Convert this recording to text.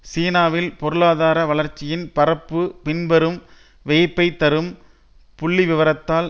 சீனாவில் பொருளாதார வளர்ச்சியின் பரப்பு பின்வரும் வியப்பைத் தரும் புள்ளிவிவரத்தால்